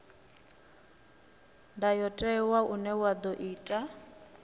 ndayotewa une wa ḓo itwa